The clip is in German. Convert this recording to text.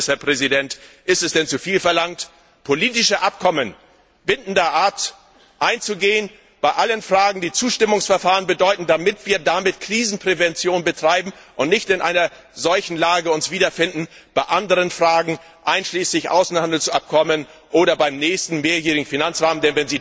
Und ein letztes, Herr Präsident Ist es denn zuviel verlangt, politische Abkommen bindender Art einzugehen, bei allen Fragen, die Zustimmungsverfahren bedeuten, damit wir damit Krisenprävention betreiben und uns nicht in einer solchen Lage wiederfinden bei anderen Fragen, einschließlich Außenhandelsabkommen oder beim nächsten mehrjährigen Finanzrahmen?